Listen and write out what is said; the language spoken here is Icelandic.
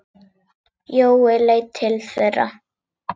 Jói leit til þeirra.